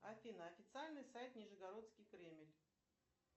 афина официальный сайт нижегородский кремль